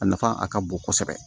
A nafa a ka bon kosɛbɛ